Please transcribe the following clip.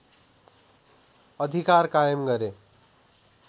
अधिकार कायम गरे